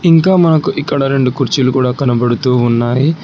ఇంకా మనకు ఇక్కడ రెండు కుర్చీలు కూడా కనబడుతూ ఉన్నాయి.